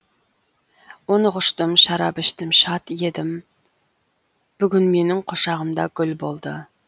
оны құштым шарап іштім шат едім бүгін менің құшағымда гүл болды